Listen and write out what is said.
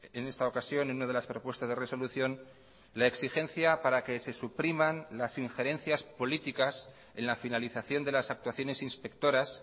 en esta ocasión en una de las propuestas de resolución la exigencia para que se supriman las injerencias políticas en la finalización de las actuaciones inspectoras